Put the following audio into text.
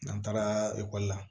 N'an taara ekɔli la